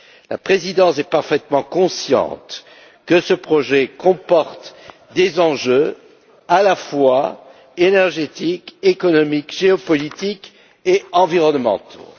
La Présidence est parfaitement consciente que ce projet comporte des enjeux à la fois énergétiques, économiques, géopolitiques et environnementaux.